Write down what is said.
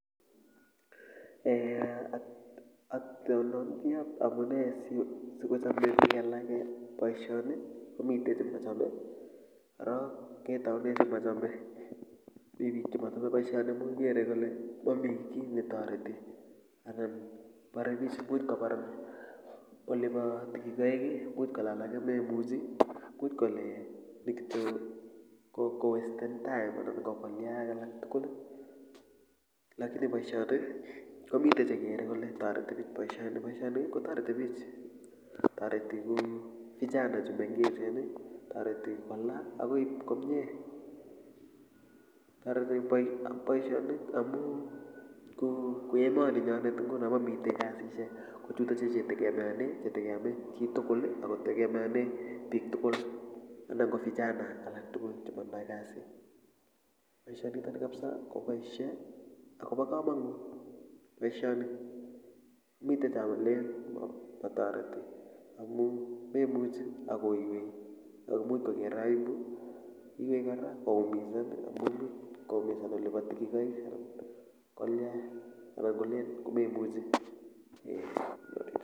eeh otindoniot amune sikochome bik alake boisioni komite chemochome korok ketaune chemochome mi bik chemochome boisioni amu kere kole mamii kiy netoreti anan borebich imuch kobar olibo tigikoik imuch kole alake memuchi imuch kole ni kityo kokowesten time anan kokolia alaktugul lakini boisioni komite chekere kole toreti bich boisioni kotoreti bich toreti kou vijana chumengech toreti kola akoib komye toreti boisionik amu kou emoni nyonet nguno mamite kasisiek kochutochu chetegemeane chitugul ako chetegemeane bik tugul anan ko vijana tugul chemotindoi kasit boisionitoni kapsa koboisie akobo kamanut boisioni mite chelen matoreti amu memuchi akoiywei ak imuch koker aibu imuchi kora koumizan olibo tigikoik kolya ak koi kolen komemuchi eeh